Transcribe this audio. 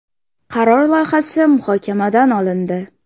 Qaror loyihasi muhokamadan olindi.